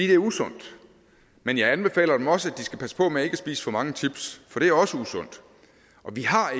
det er usundt men jeg anbefaler dem også at de skal passe på med ikke at spise for mange chips for det er også usundt og vi har